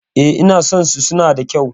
E, ina son su, suna da kyau.